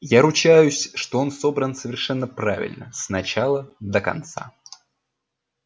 я ручаюсь что он собран совершенно правильно с начала до конца